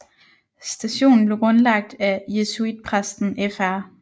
Stationen blev grundlagt af jesuitpræsten Fr